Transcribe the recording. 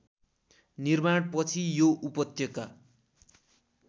निर्माणपछि यो उपत्यका